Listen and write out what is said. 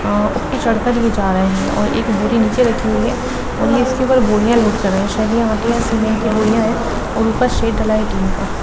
आ ऊपर चड़कर ये जा रहे हैंऔर एक बोरी नीचे रखी हुई है और ये इसके ऊपर बोरिया लोड कर रहे है ये शयद सीमेंट की बोरिया है और उपर शेड डला हुआ--